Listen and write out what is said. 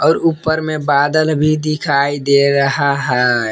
और ऊपर में बादल भी दिखाई दे रहा है।